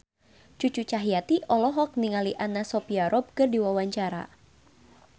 Cucu Cahyati olohok ningali Anna Sophia Robb keur diwawancara